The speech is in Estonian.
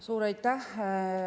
Suur aitäh!